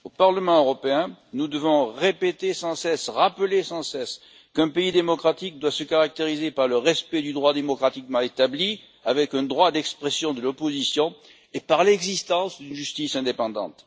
Au Parlement européen, nous devons rappeler sans cesse qu'un pays démocratique doit se caractériser par le respect du droit démocratiquement établi, notamment d'un droit d'expression de l'opposition, et par l'existence d'une justice indépendante.